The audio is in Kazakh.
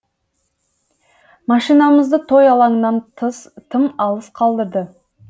машинамызды той алаңынан тым алыс қалдырды